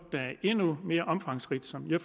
det er endnu mere omfangsrigt så jeg